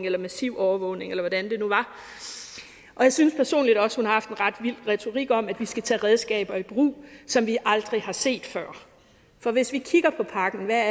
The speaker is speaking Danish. eller massiv overvågning eller hvordan det nu var og jeg synes personligt også har haft en ret vild retorik om at vi skal tage redskaber i brug som vi aldrig har set før for hvis vi kigger på pakken hvad